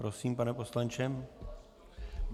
Prosím, pane poslanče.